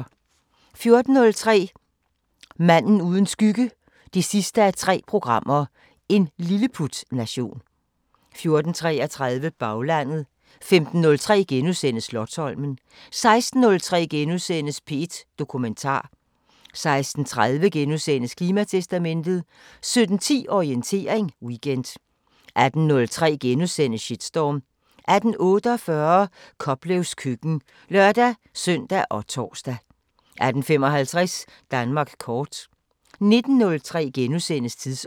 14:03: Manden uden skygge 3:3 – En lilleputnation 14:33: Baglandet 15:03: Slotsholmen * 16:03: P1 Dokumentar * 16:30: Klimatestamentet * 17:10: Orientering Weekend 18:03: Shitstorm * 18:48: Koplevs køkken (lør-søn og tor) 18:55: Danmark kort 19:03: Tidsånd *